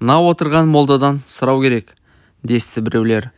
мына отырған молдадан сұрау керек десті біреулер